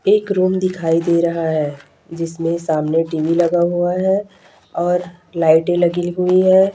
एक रूम दिखाई दे रहा है जिसमें सामने टी_वी लगा हुआ है और लाइटे लगी हुई है।